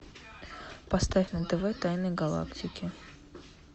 поставь на тв тайны галактики